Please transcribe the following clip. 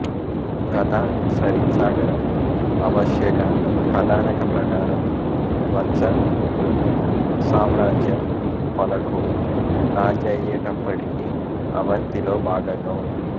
కథా సరిత్సాగరం అవశ్యక కథానక ప్రకారం వత్స సామ్రాజ్యం పలకుడు రాజయ్యేటప్పటికి అవంతిలో భాగంగా ఉంది